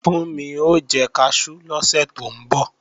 Fúnmi o jẹ kaṣú lọ́sẹ̀ tó ń bọ̀